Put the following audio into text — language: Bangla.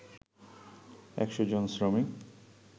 ১০০ জন শ্রমিক